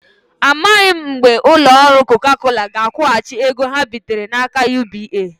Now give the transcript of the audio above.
Amaghị mgbe ụlọ ọrụ Coca Cola ga-akwụghachi ego ha bitere n'aka UBA.